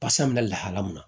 Pasa bɛna lahala min na